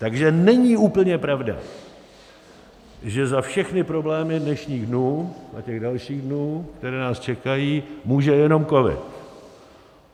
Takže není úplně pravda, že za všechny problémy dnešních dnů a těch dalších dnů, které nás čekají, může jenom covid.